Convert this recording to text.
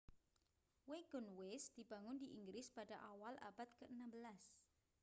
wagonways dibangun di inggris pada awal abad ke-16